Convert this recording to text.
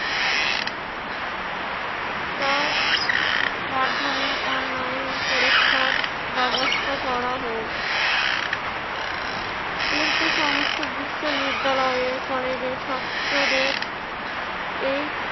তার মাধ্যমে onile পরীক্ষার ব্যেবস্থা করা হোক। কিন্তু সমস্ত বিশ্ববিদ্যালয়ে কলেজের ছাত্রদের এই